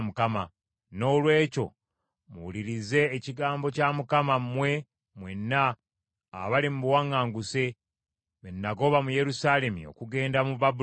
Noolwekyo, muwulirize ekigambo kya Mukama , mmwe mwenna abali mu buwaŋŋanguse be nagoba mu Yerusaalemi okugenda mu Babulooni.